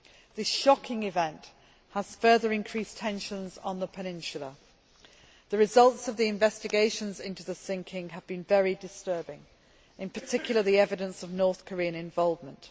This shocking event has further increased tensions on the peninsula. The results of the investigation into the sinking have been very disturbing, in particular, the evidence of North Korean involvement.